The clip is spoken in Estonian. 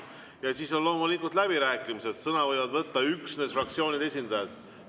Ja siis on loomulikult läbirääkimised, sõna võivad võtta üksnes fraktsioonide esindajad.